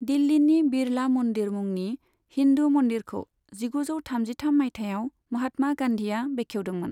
दिल्लीनि बिड़ला मन्दिर मुंनि हिन्दू मन्दिरखौ जिगुजौ थामजिथाम मायथाइयाव महात्मा गान्धीआ बेखेवदोंमोन।